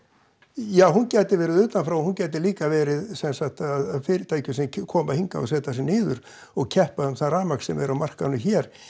ja hún gæti verið utan frá en hún gæti líka verið sem sagt fyrirtæki sem koma hingað og setja sig niður og keppa um það rafmagn sem er á markaðnum hér